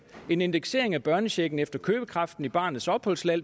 en indeksering af børnechecken efter købekraften i barnets opholdsland